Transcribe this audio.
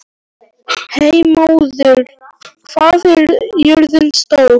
Hermóður, hvað er jörðin stór?